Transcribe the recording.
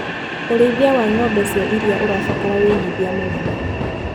ũrĩithia wa ngombe cia iria ũrabatara wĩigithia mũnene.